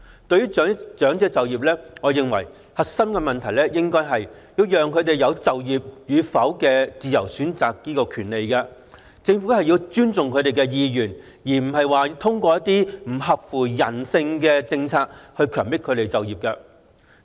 對於長者就業，我認為核心的問題應該是讓他們有自由選擇就業與否的權利，政府要尊重他們的意願而非通過一些不合乎人性的政策強迫他們就業。